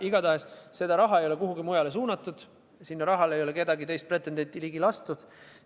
Igatahes, seda raha ei ole kuhugi mujale suunatud, sellele rahale ei ole ühtegi teist pretendenti ligi lastud.